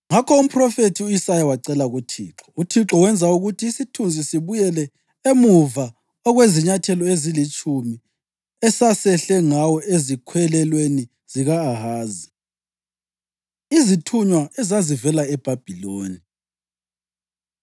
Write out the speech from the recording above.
Ngakho umphrofethi u-Isaya wacela kuThixo, uThixo wenza ukuthi isithunzi sibuyele emuva okwezinyathelo ezilitshumi esasehle ngawo ezikhwelelweni zika-Ahazi. Izithunywa Ezazivela EBhabhiloni